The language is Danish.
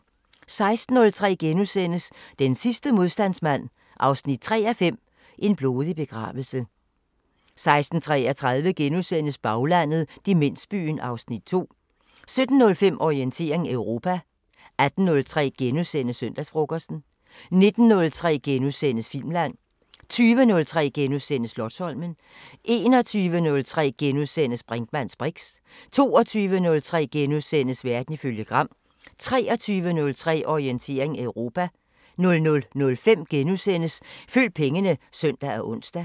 16:03: Den sidste modstandsmand 3:5 – En blodig begravelse * 16:33: Baglandet: Demensbyen (Afs. 2)* 17:05: Orientering Europa 18:03: Søndagsfrokosten * 19:03: Filmland * 20:03: Slotsholmen * 21:03: Brinkmanns briks * 22:03: Verden ifølge Gram * 23:03: Orientering Europa 00:05: Følg pengene *(søn og ons)